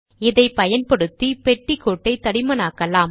இதைப்பயன்படுத்தி பெட்டி கோட்டை தடிமனாக்கலாம்